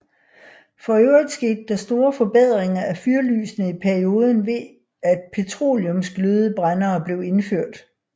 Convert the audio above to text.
For øvrigt skete der store forbedringer af fyrlysene i perioden ved at petroleumsglødebrændere blev indført